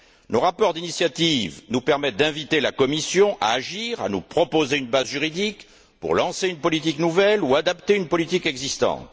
Nos rapports d'initiative nous permettent d'inviter la Commission à agir, à nous proposer une base juridique, pour lancer une politique nouvelle ou adapter une politique existante.